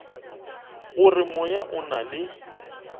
gore moya o na le